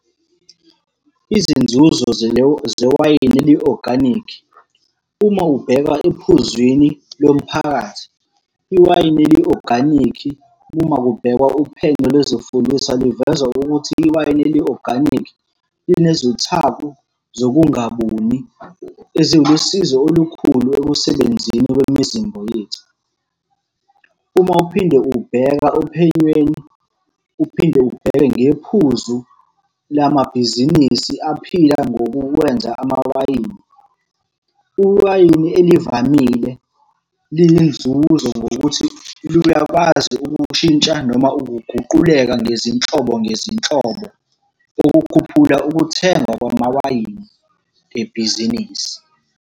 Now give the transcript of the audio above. Izinzuzo zewayini eli-oganikhi. Uma ubheka ephuzwini lomphakathi, iwayini eli-oganikhi, uma kubhekwa uphenyo lwezifundiswa luveza ukuthi iwayini eli-oganikhi linezithako zokungabuni, ezilusizo olukhulu ekusebenzeni kwemizimba yethu. Uma uphinde ubheka ophenyweni, uphinde ubheke ngephuzu lamabhizinisi aphila ngokuwenza amawayini, iwayini elivamile linenzuzo ngokuthi luyakwazi ukushintsha noma ukuguquleka ngezinhlobo ngezinhlobo. Okukhuphula ukuthengwa kwamawayini ebhizinisi.